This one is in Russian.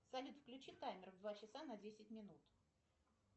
салют включи таймер в два часа на десять минут